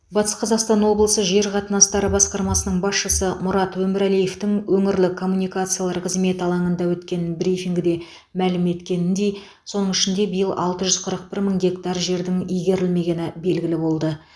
батыс қазақстан облысында жер қатынастары басқармасының басшысы мұрат өмірәлиевтің өңірлік коммуникациялар қызметі алаңында өткен брифингіде мәлім еткеніндей соның ішінде биыл алты жүз қырық бір мың гектар жердің игерілмегені белгілі болды